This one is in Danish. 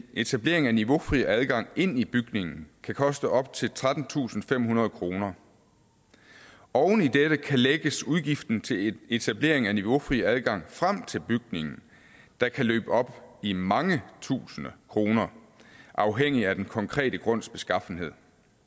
etablering af niveaufri adgang ind i bygningen kan koste op til trettentusinde og femhundrede kroner oven i dette kan lægges udgiften til etablering af niveaufri adgang frem til bygningen der kan løbe op i mange tusinde kroner afhængigt af den konkrete grunds beskaffenhed